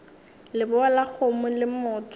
lebowa la kgomo le motho